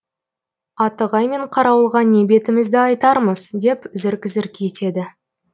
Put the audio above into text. атығай мен қарауылға не бетімізді айтармыз деп зірк зірк етеді